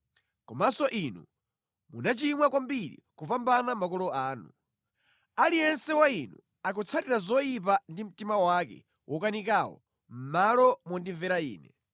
Komanso inu munachimwa kwambiri kupambana makolo anu. Aliyense wa inu akutsatira zoyipa ndi mtima wake wokanikawo mʼmalo mondimvera Ine.